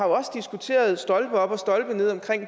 også diskuteret stolpe op og stolpe ned om